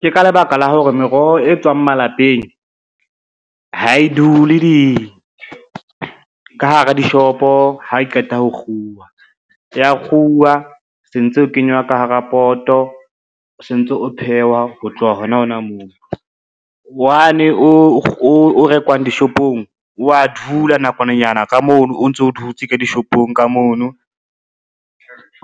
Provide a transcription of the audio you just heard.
Ke ka lebaka la hore meroho e tswang malapeng, ha e dule ka hara dishopo ha e qeta ho kguwa, ya kguwa sentse o kenywa ka hara poto, sentse o phehwa ho tloha hona hona moo. Wane o rekwang dishopong o a dula nakwananyana ka mono o ntso dutse ka dishopong ka mono,